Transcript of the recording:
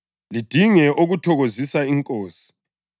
lidinge okuthokozisa iNkosi.